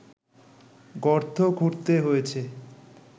গর্ত খুঁড়তে হয়েছে